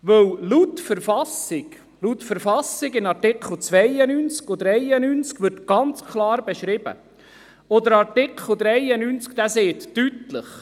Denn die Artikel 92 und 93 der Verfassung des Kantons Bern (KV) beschreiben das ganz klar.